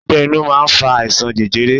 Ọgbẹ́ inú máa ń fa àìsàn jẹjẹrẹ.